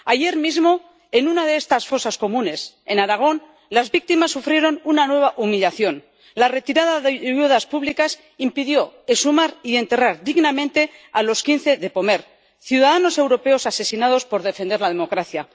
Ayer mismo, en una de estas fosas comunes, en Aragón, las víctimas sufrieron una nueva humillación la retirada de ayudas públicas impidió exhumar y enterrar dignamente a quince vecinos de Pomer, ciudadanos europeos asesinados por defender la democracia.